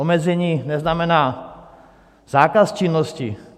Omezení neznamená zákaz činnosti.